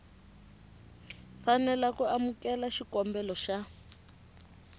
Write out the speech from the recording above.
fanela ku amukela xikombelo xa